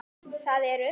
Það eru